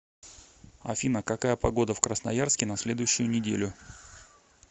афина какая погода в красноярске на следующую неделю